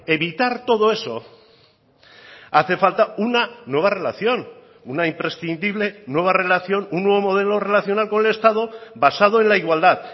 evitar todo eso hace falta una nueva relación una imprescindible nueva relación un nuevo modelo relacional con el estado basado en la igualdad